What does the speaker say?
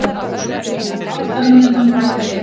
Það var átta mínútum bætt við